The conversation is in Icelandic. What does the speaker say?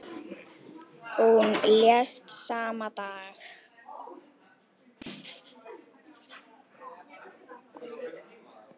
Hún lést sama dag.